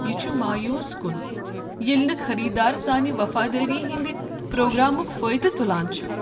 یہ چھ مایوس کُن ییٚلہ نہٕ خریٖدار سانہ وفادٲری ہنٛد پروگرامُک فٲیدٕ تُلان چھ۔